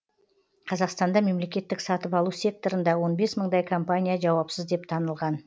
қазақстанда мемлекеттік сатып алу секторында он бес мыңдай компания жауапсыз деп танылған